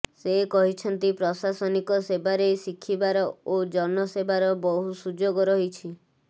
ସେ କହିଛନ୍ତି ପ୍ରଶାସନିକ ସେବାରେ ଶିଖିବାର ଓ ଜନ ସେବାର ବହୁ ସୁଯୋଗ ରହିଛ